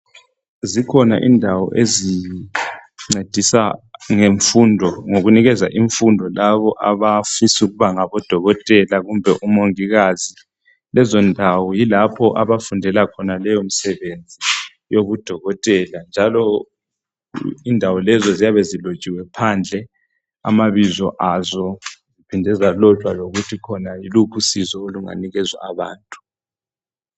Zikhona indawo ezincedisa ngemfundo zincedisa labo abafisa ukuba ngodokotela kumbe omongikazi. Indawo lezo ziyabe zilotshiwe amabizo azo phandle losizo olunikezwa abantu.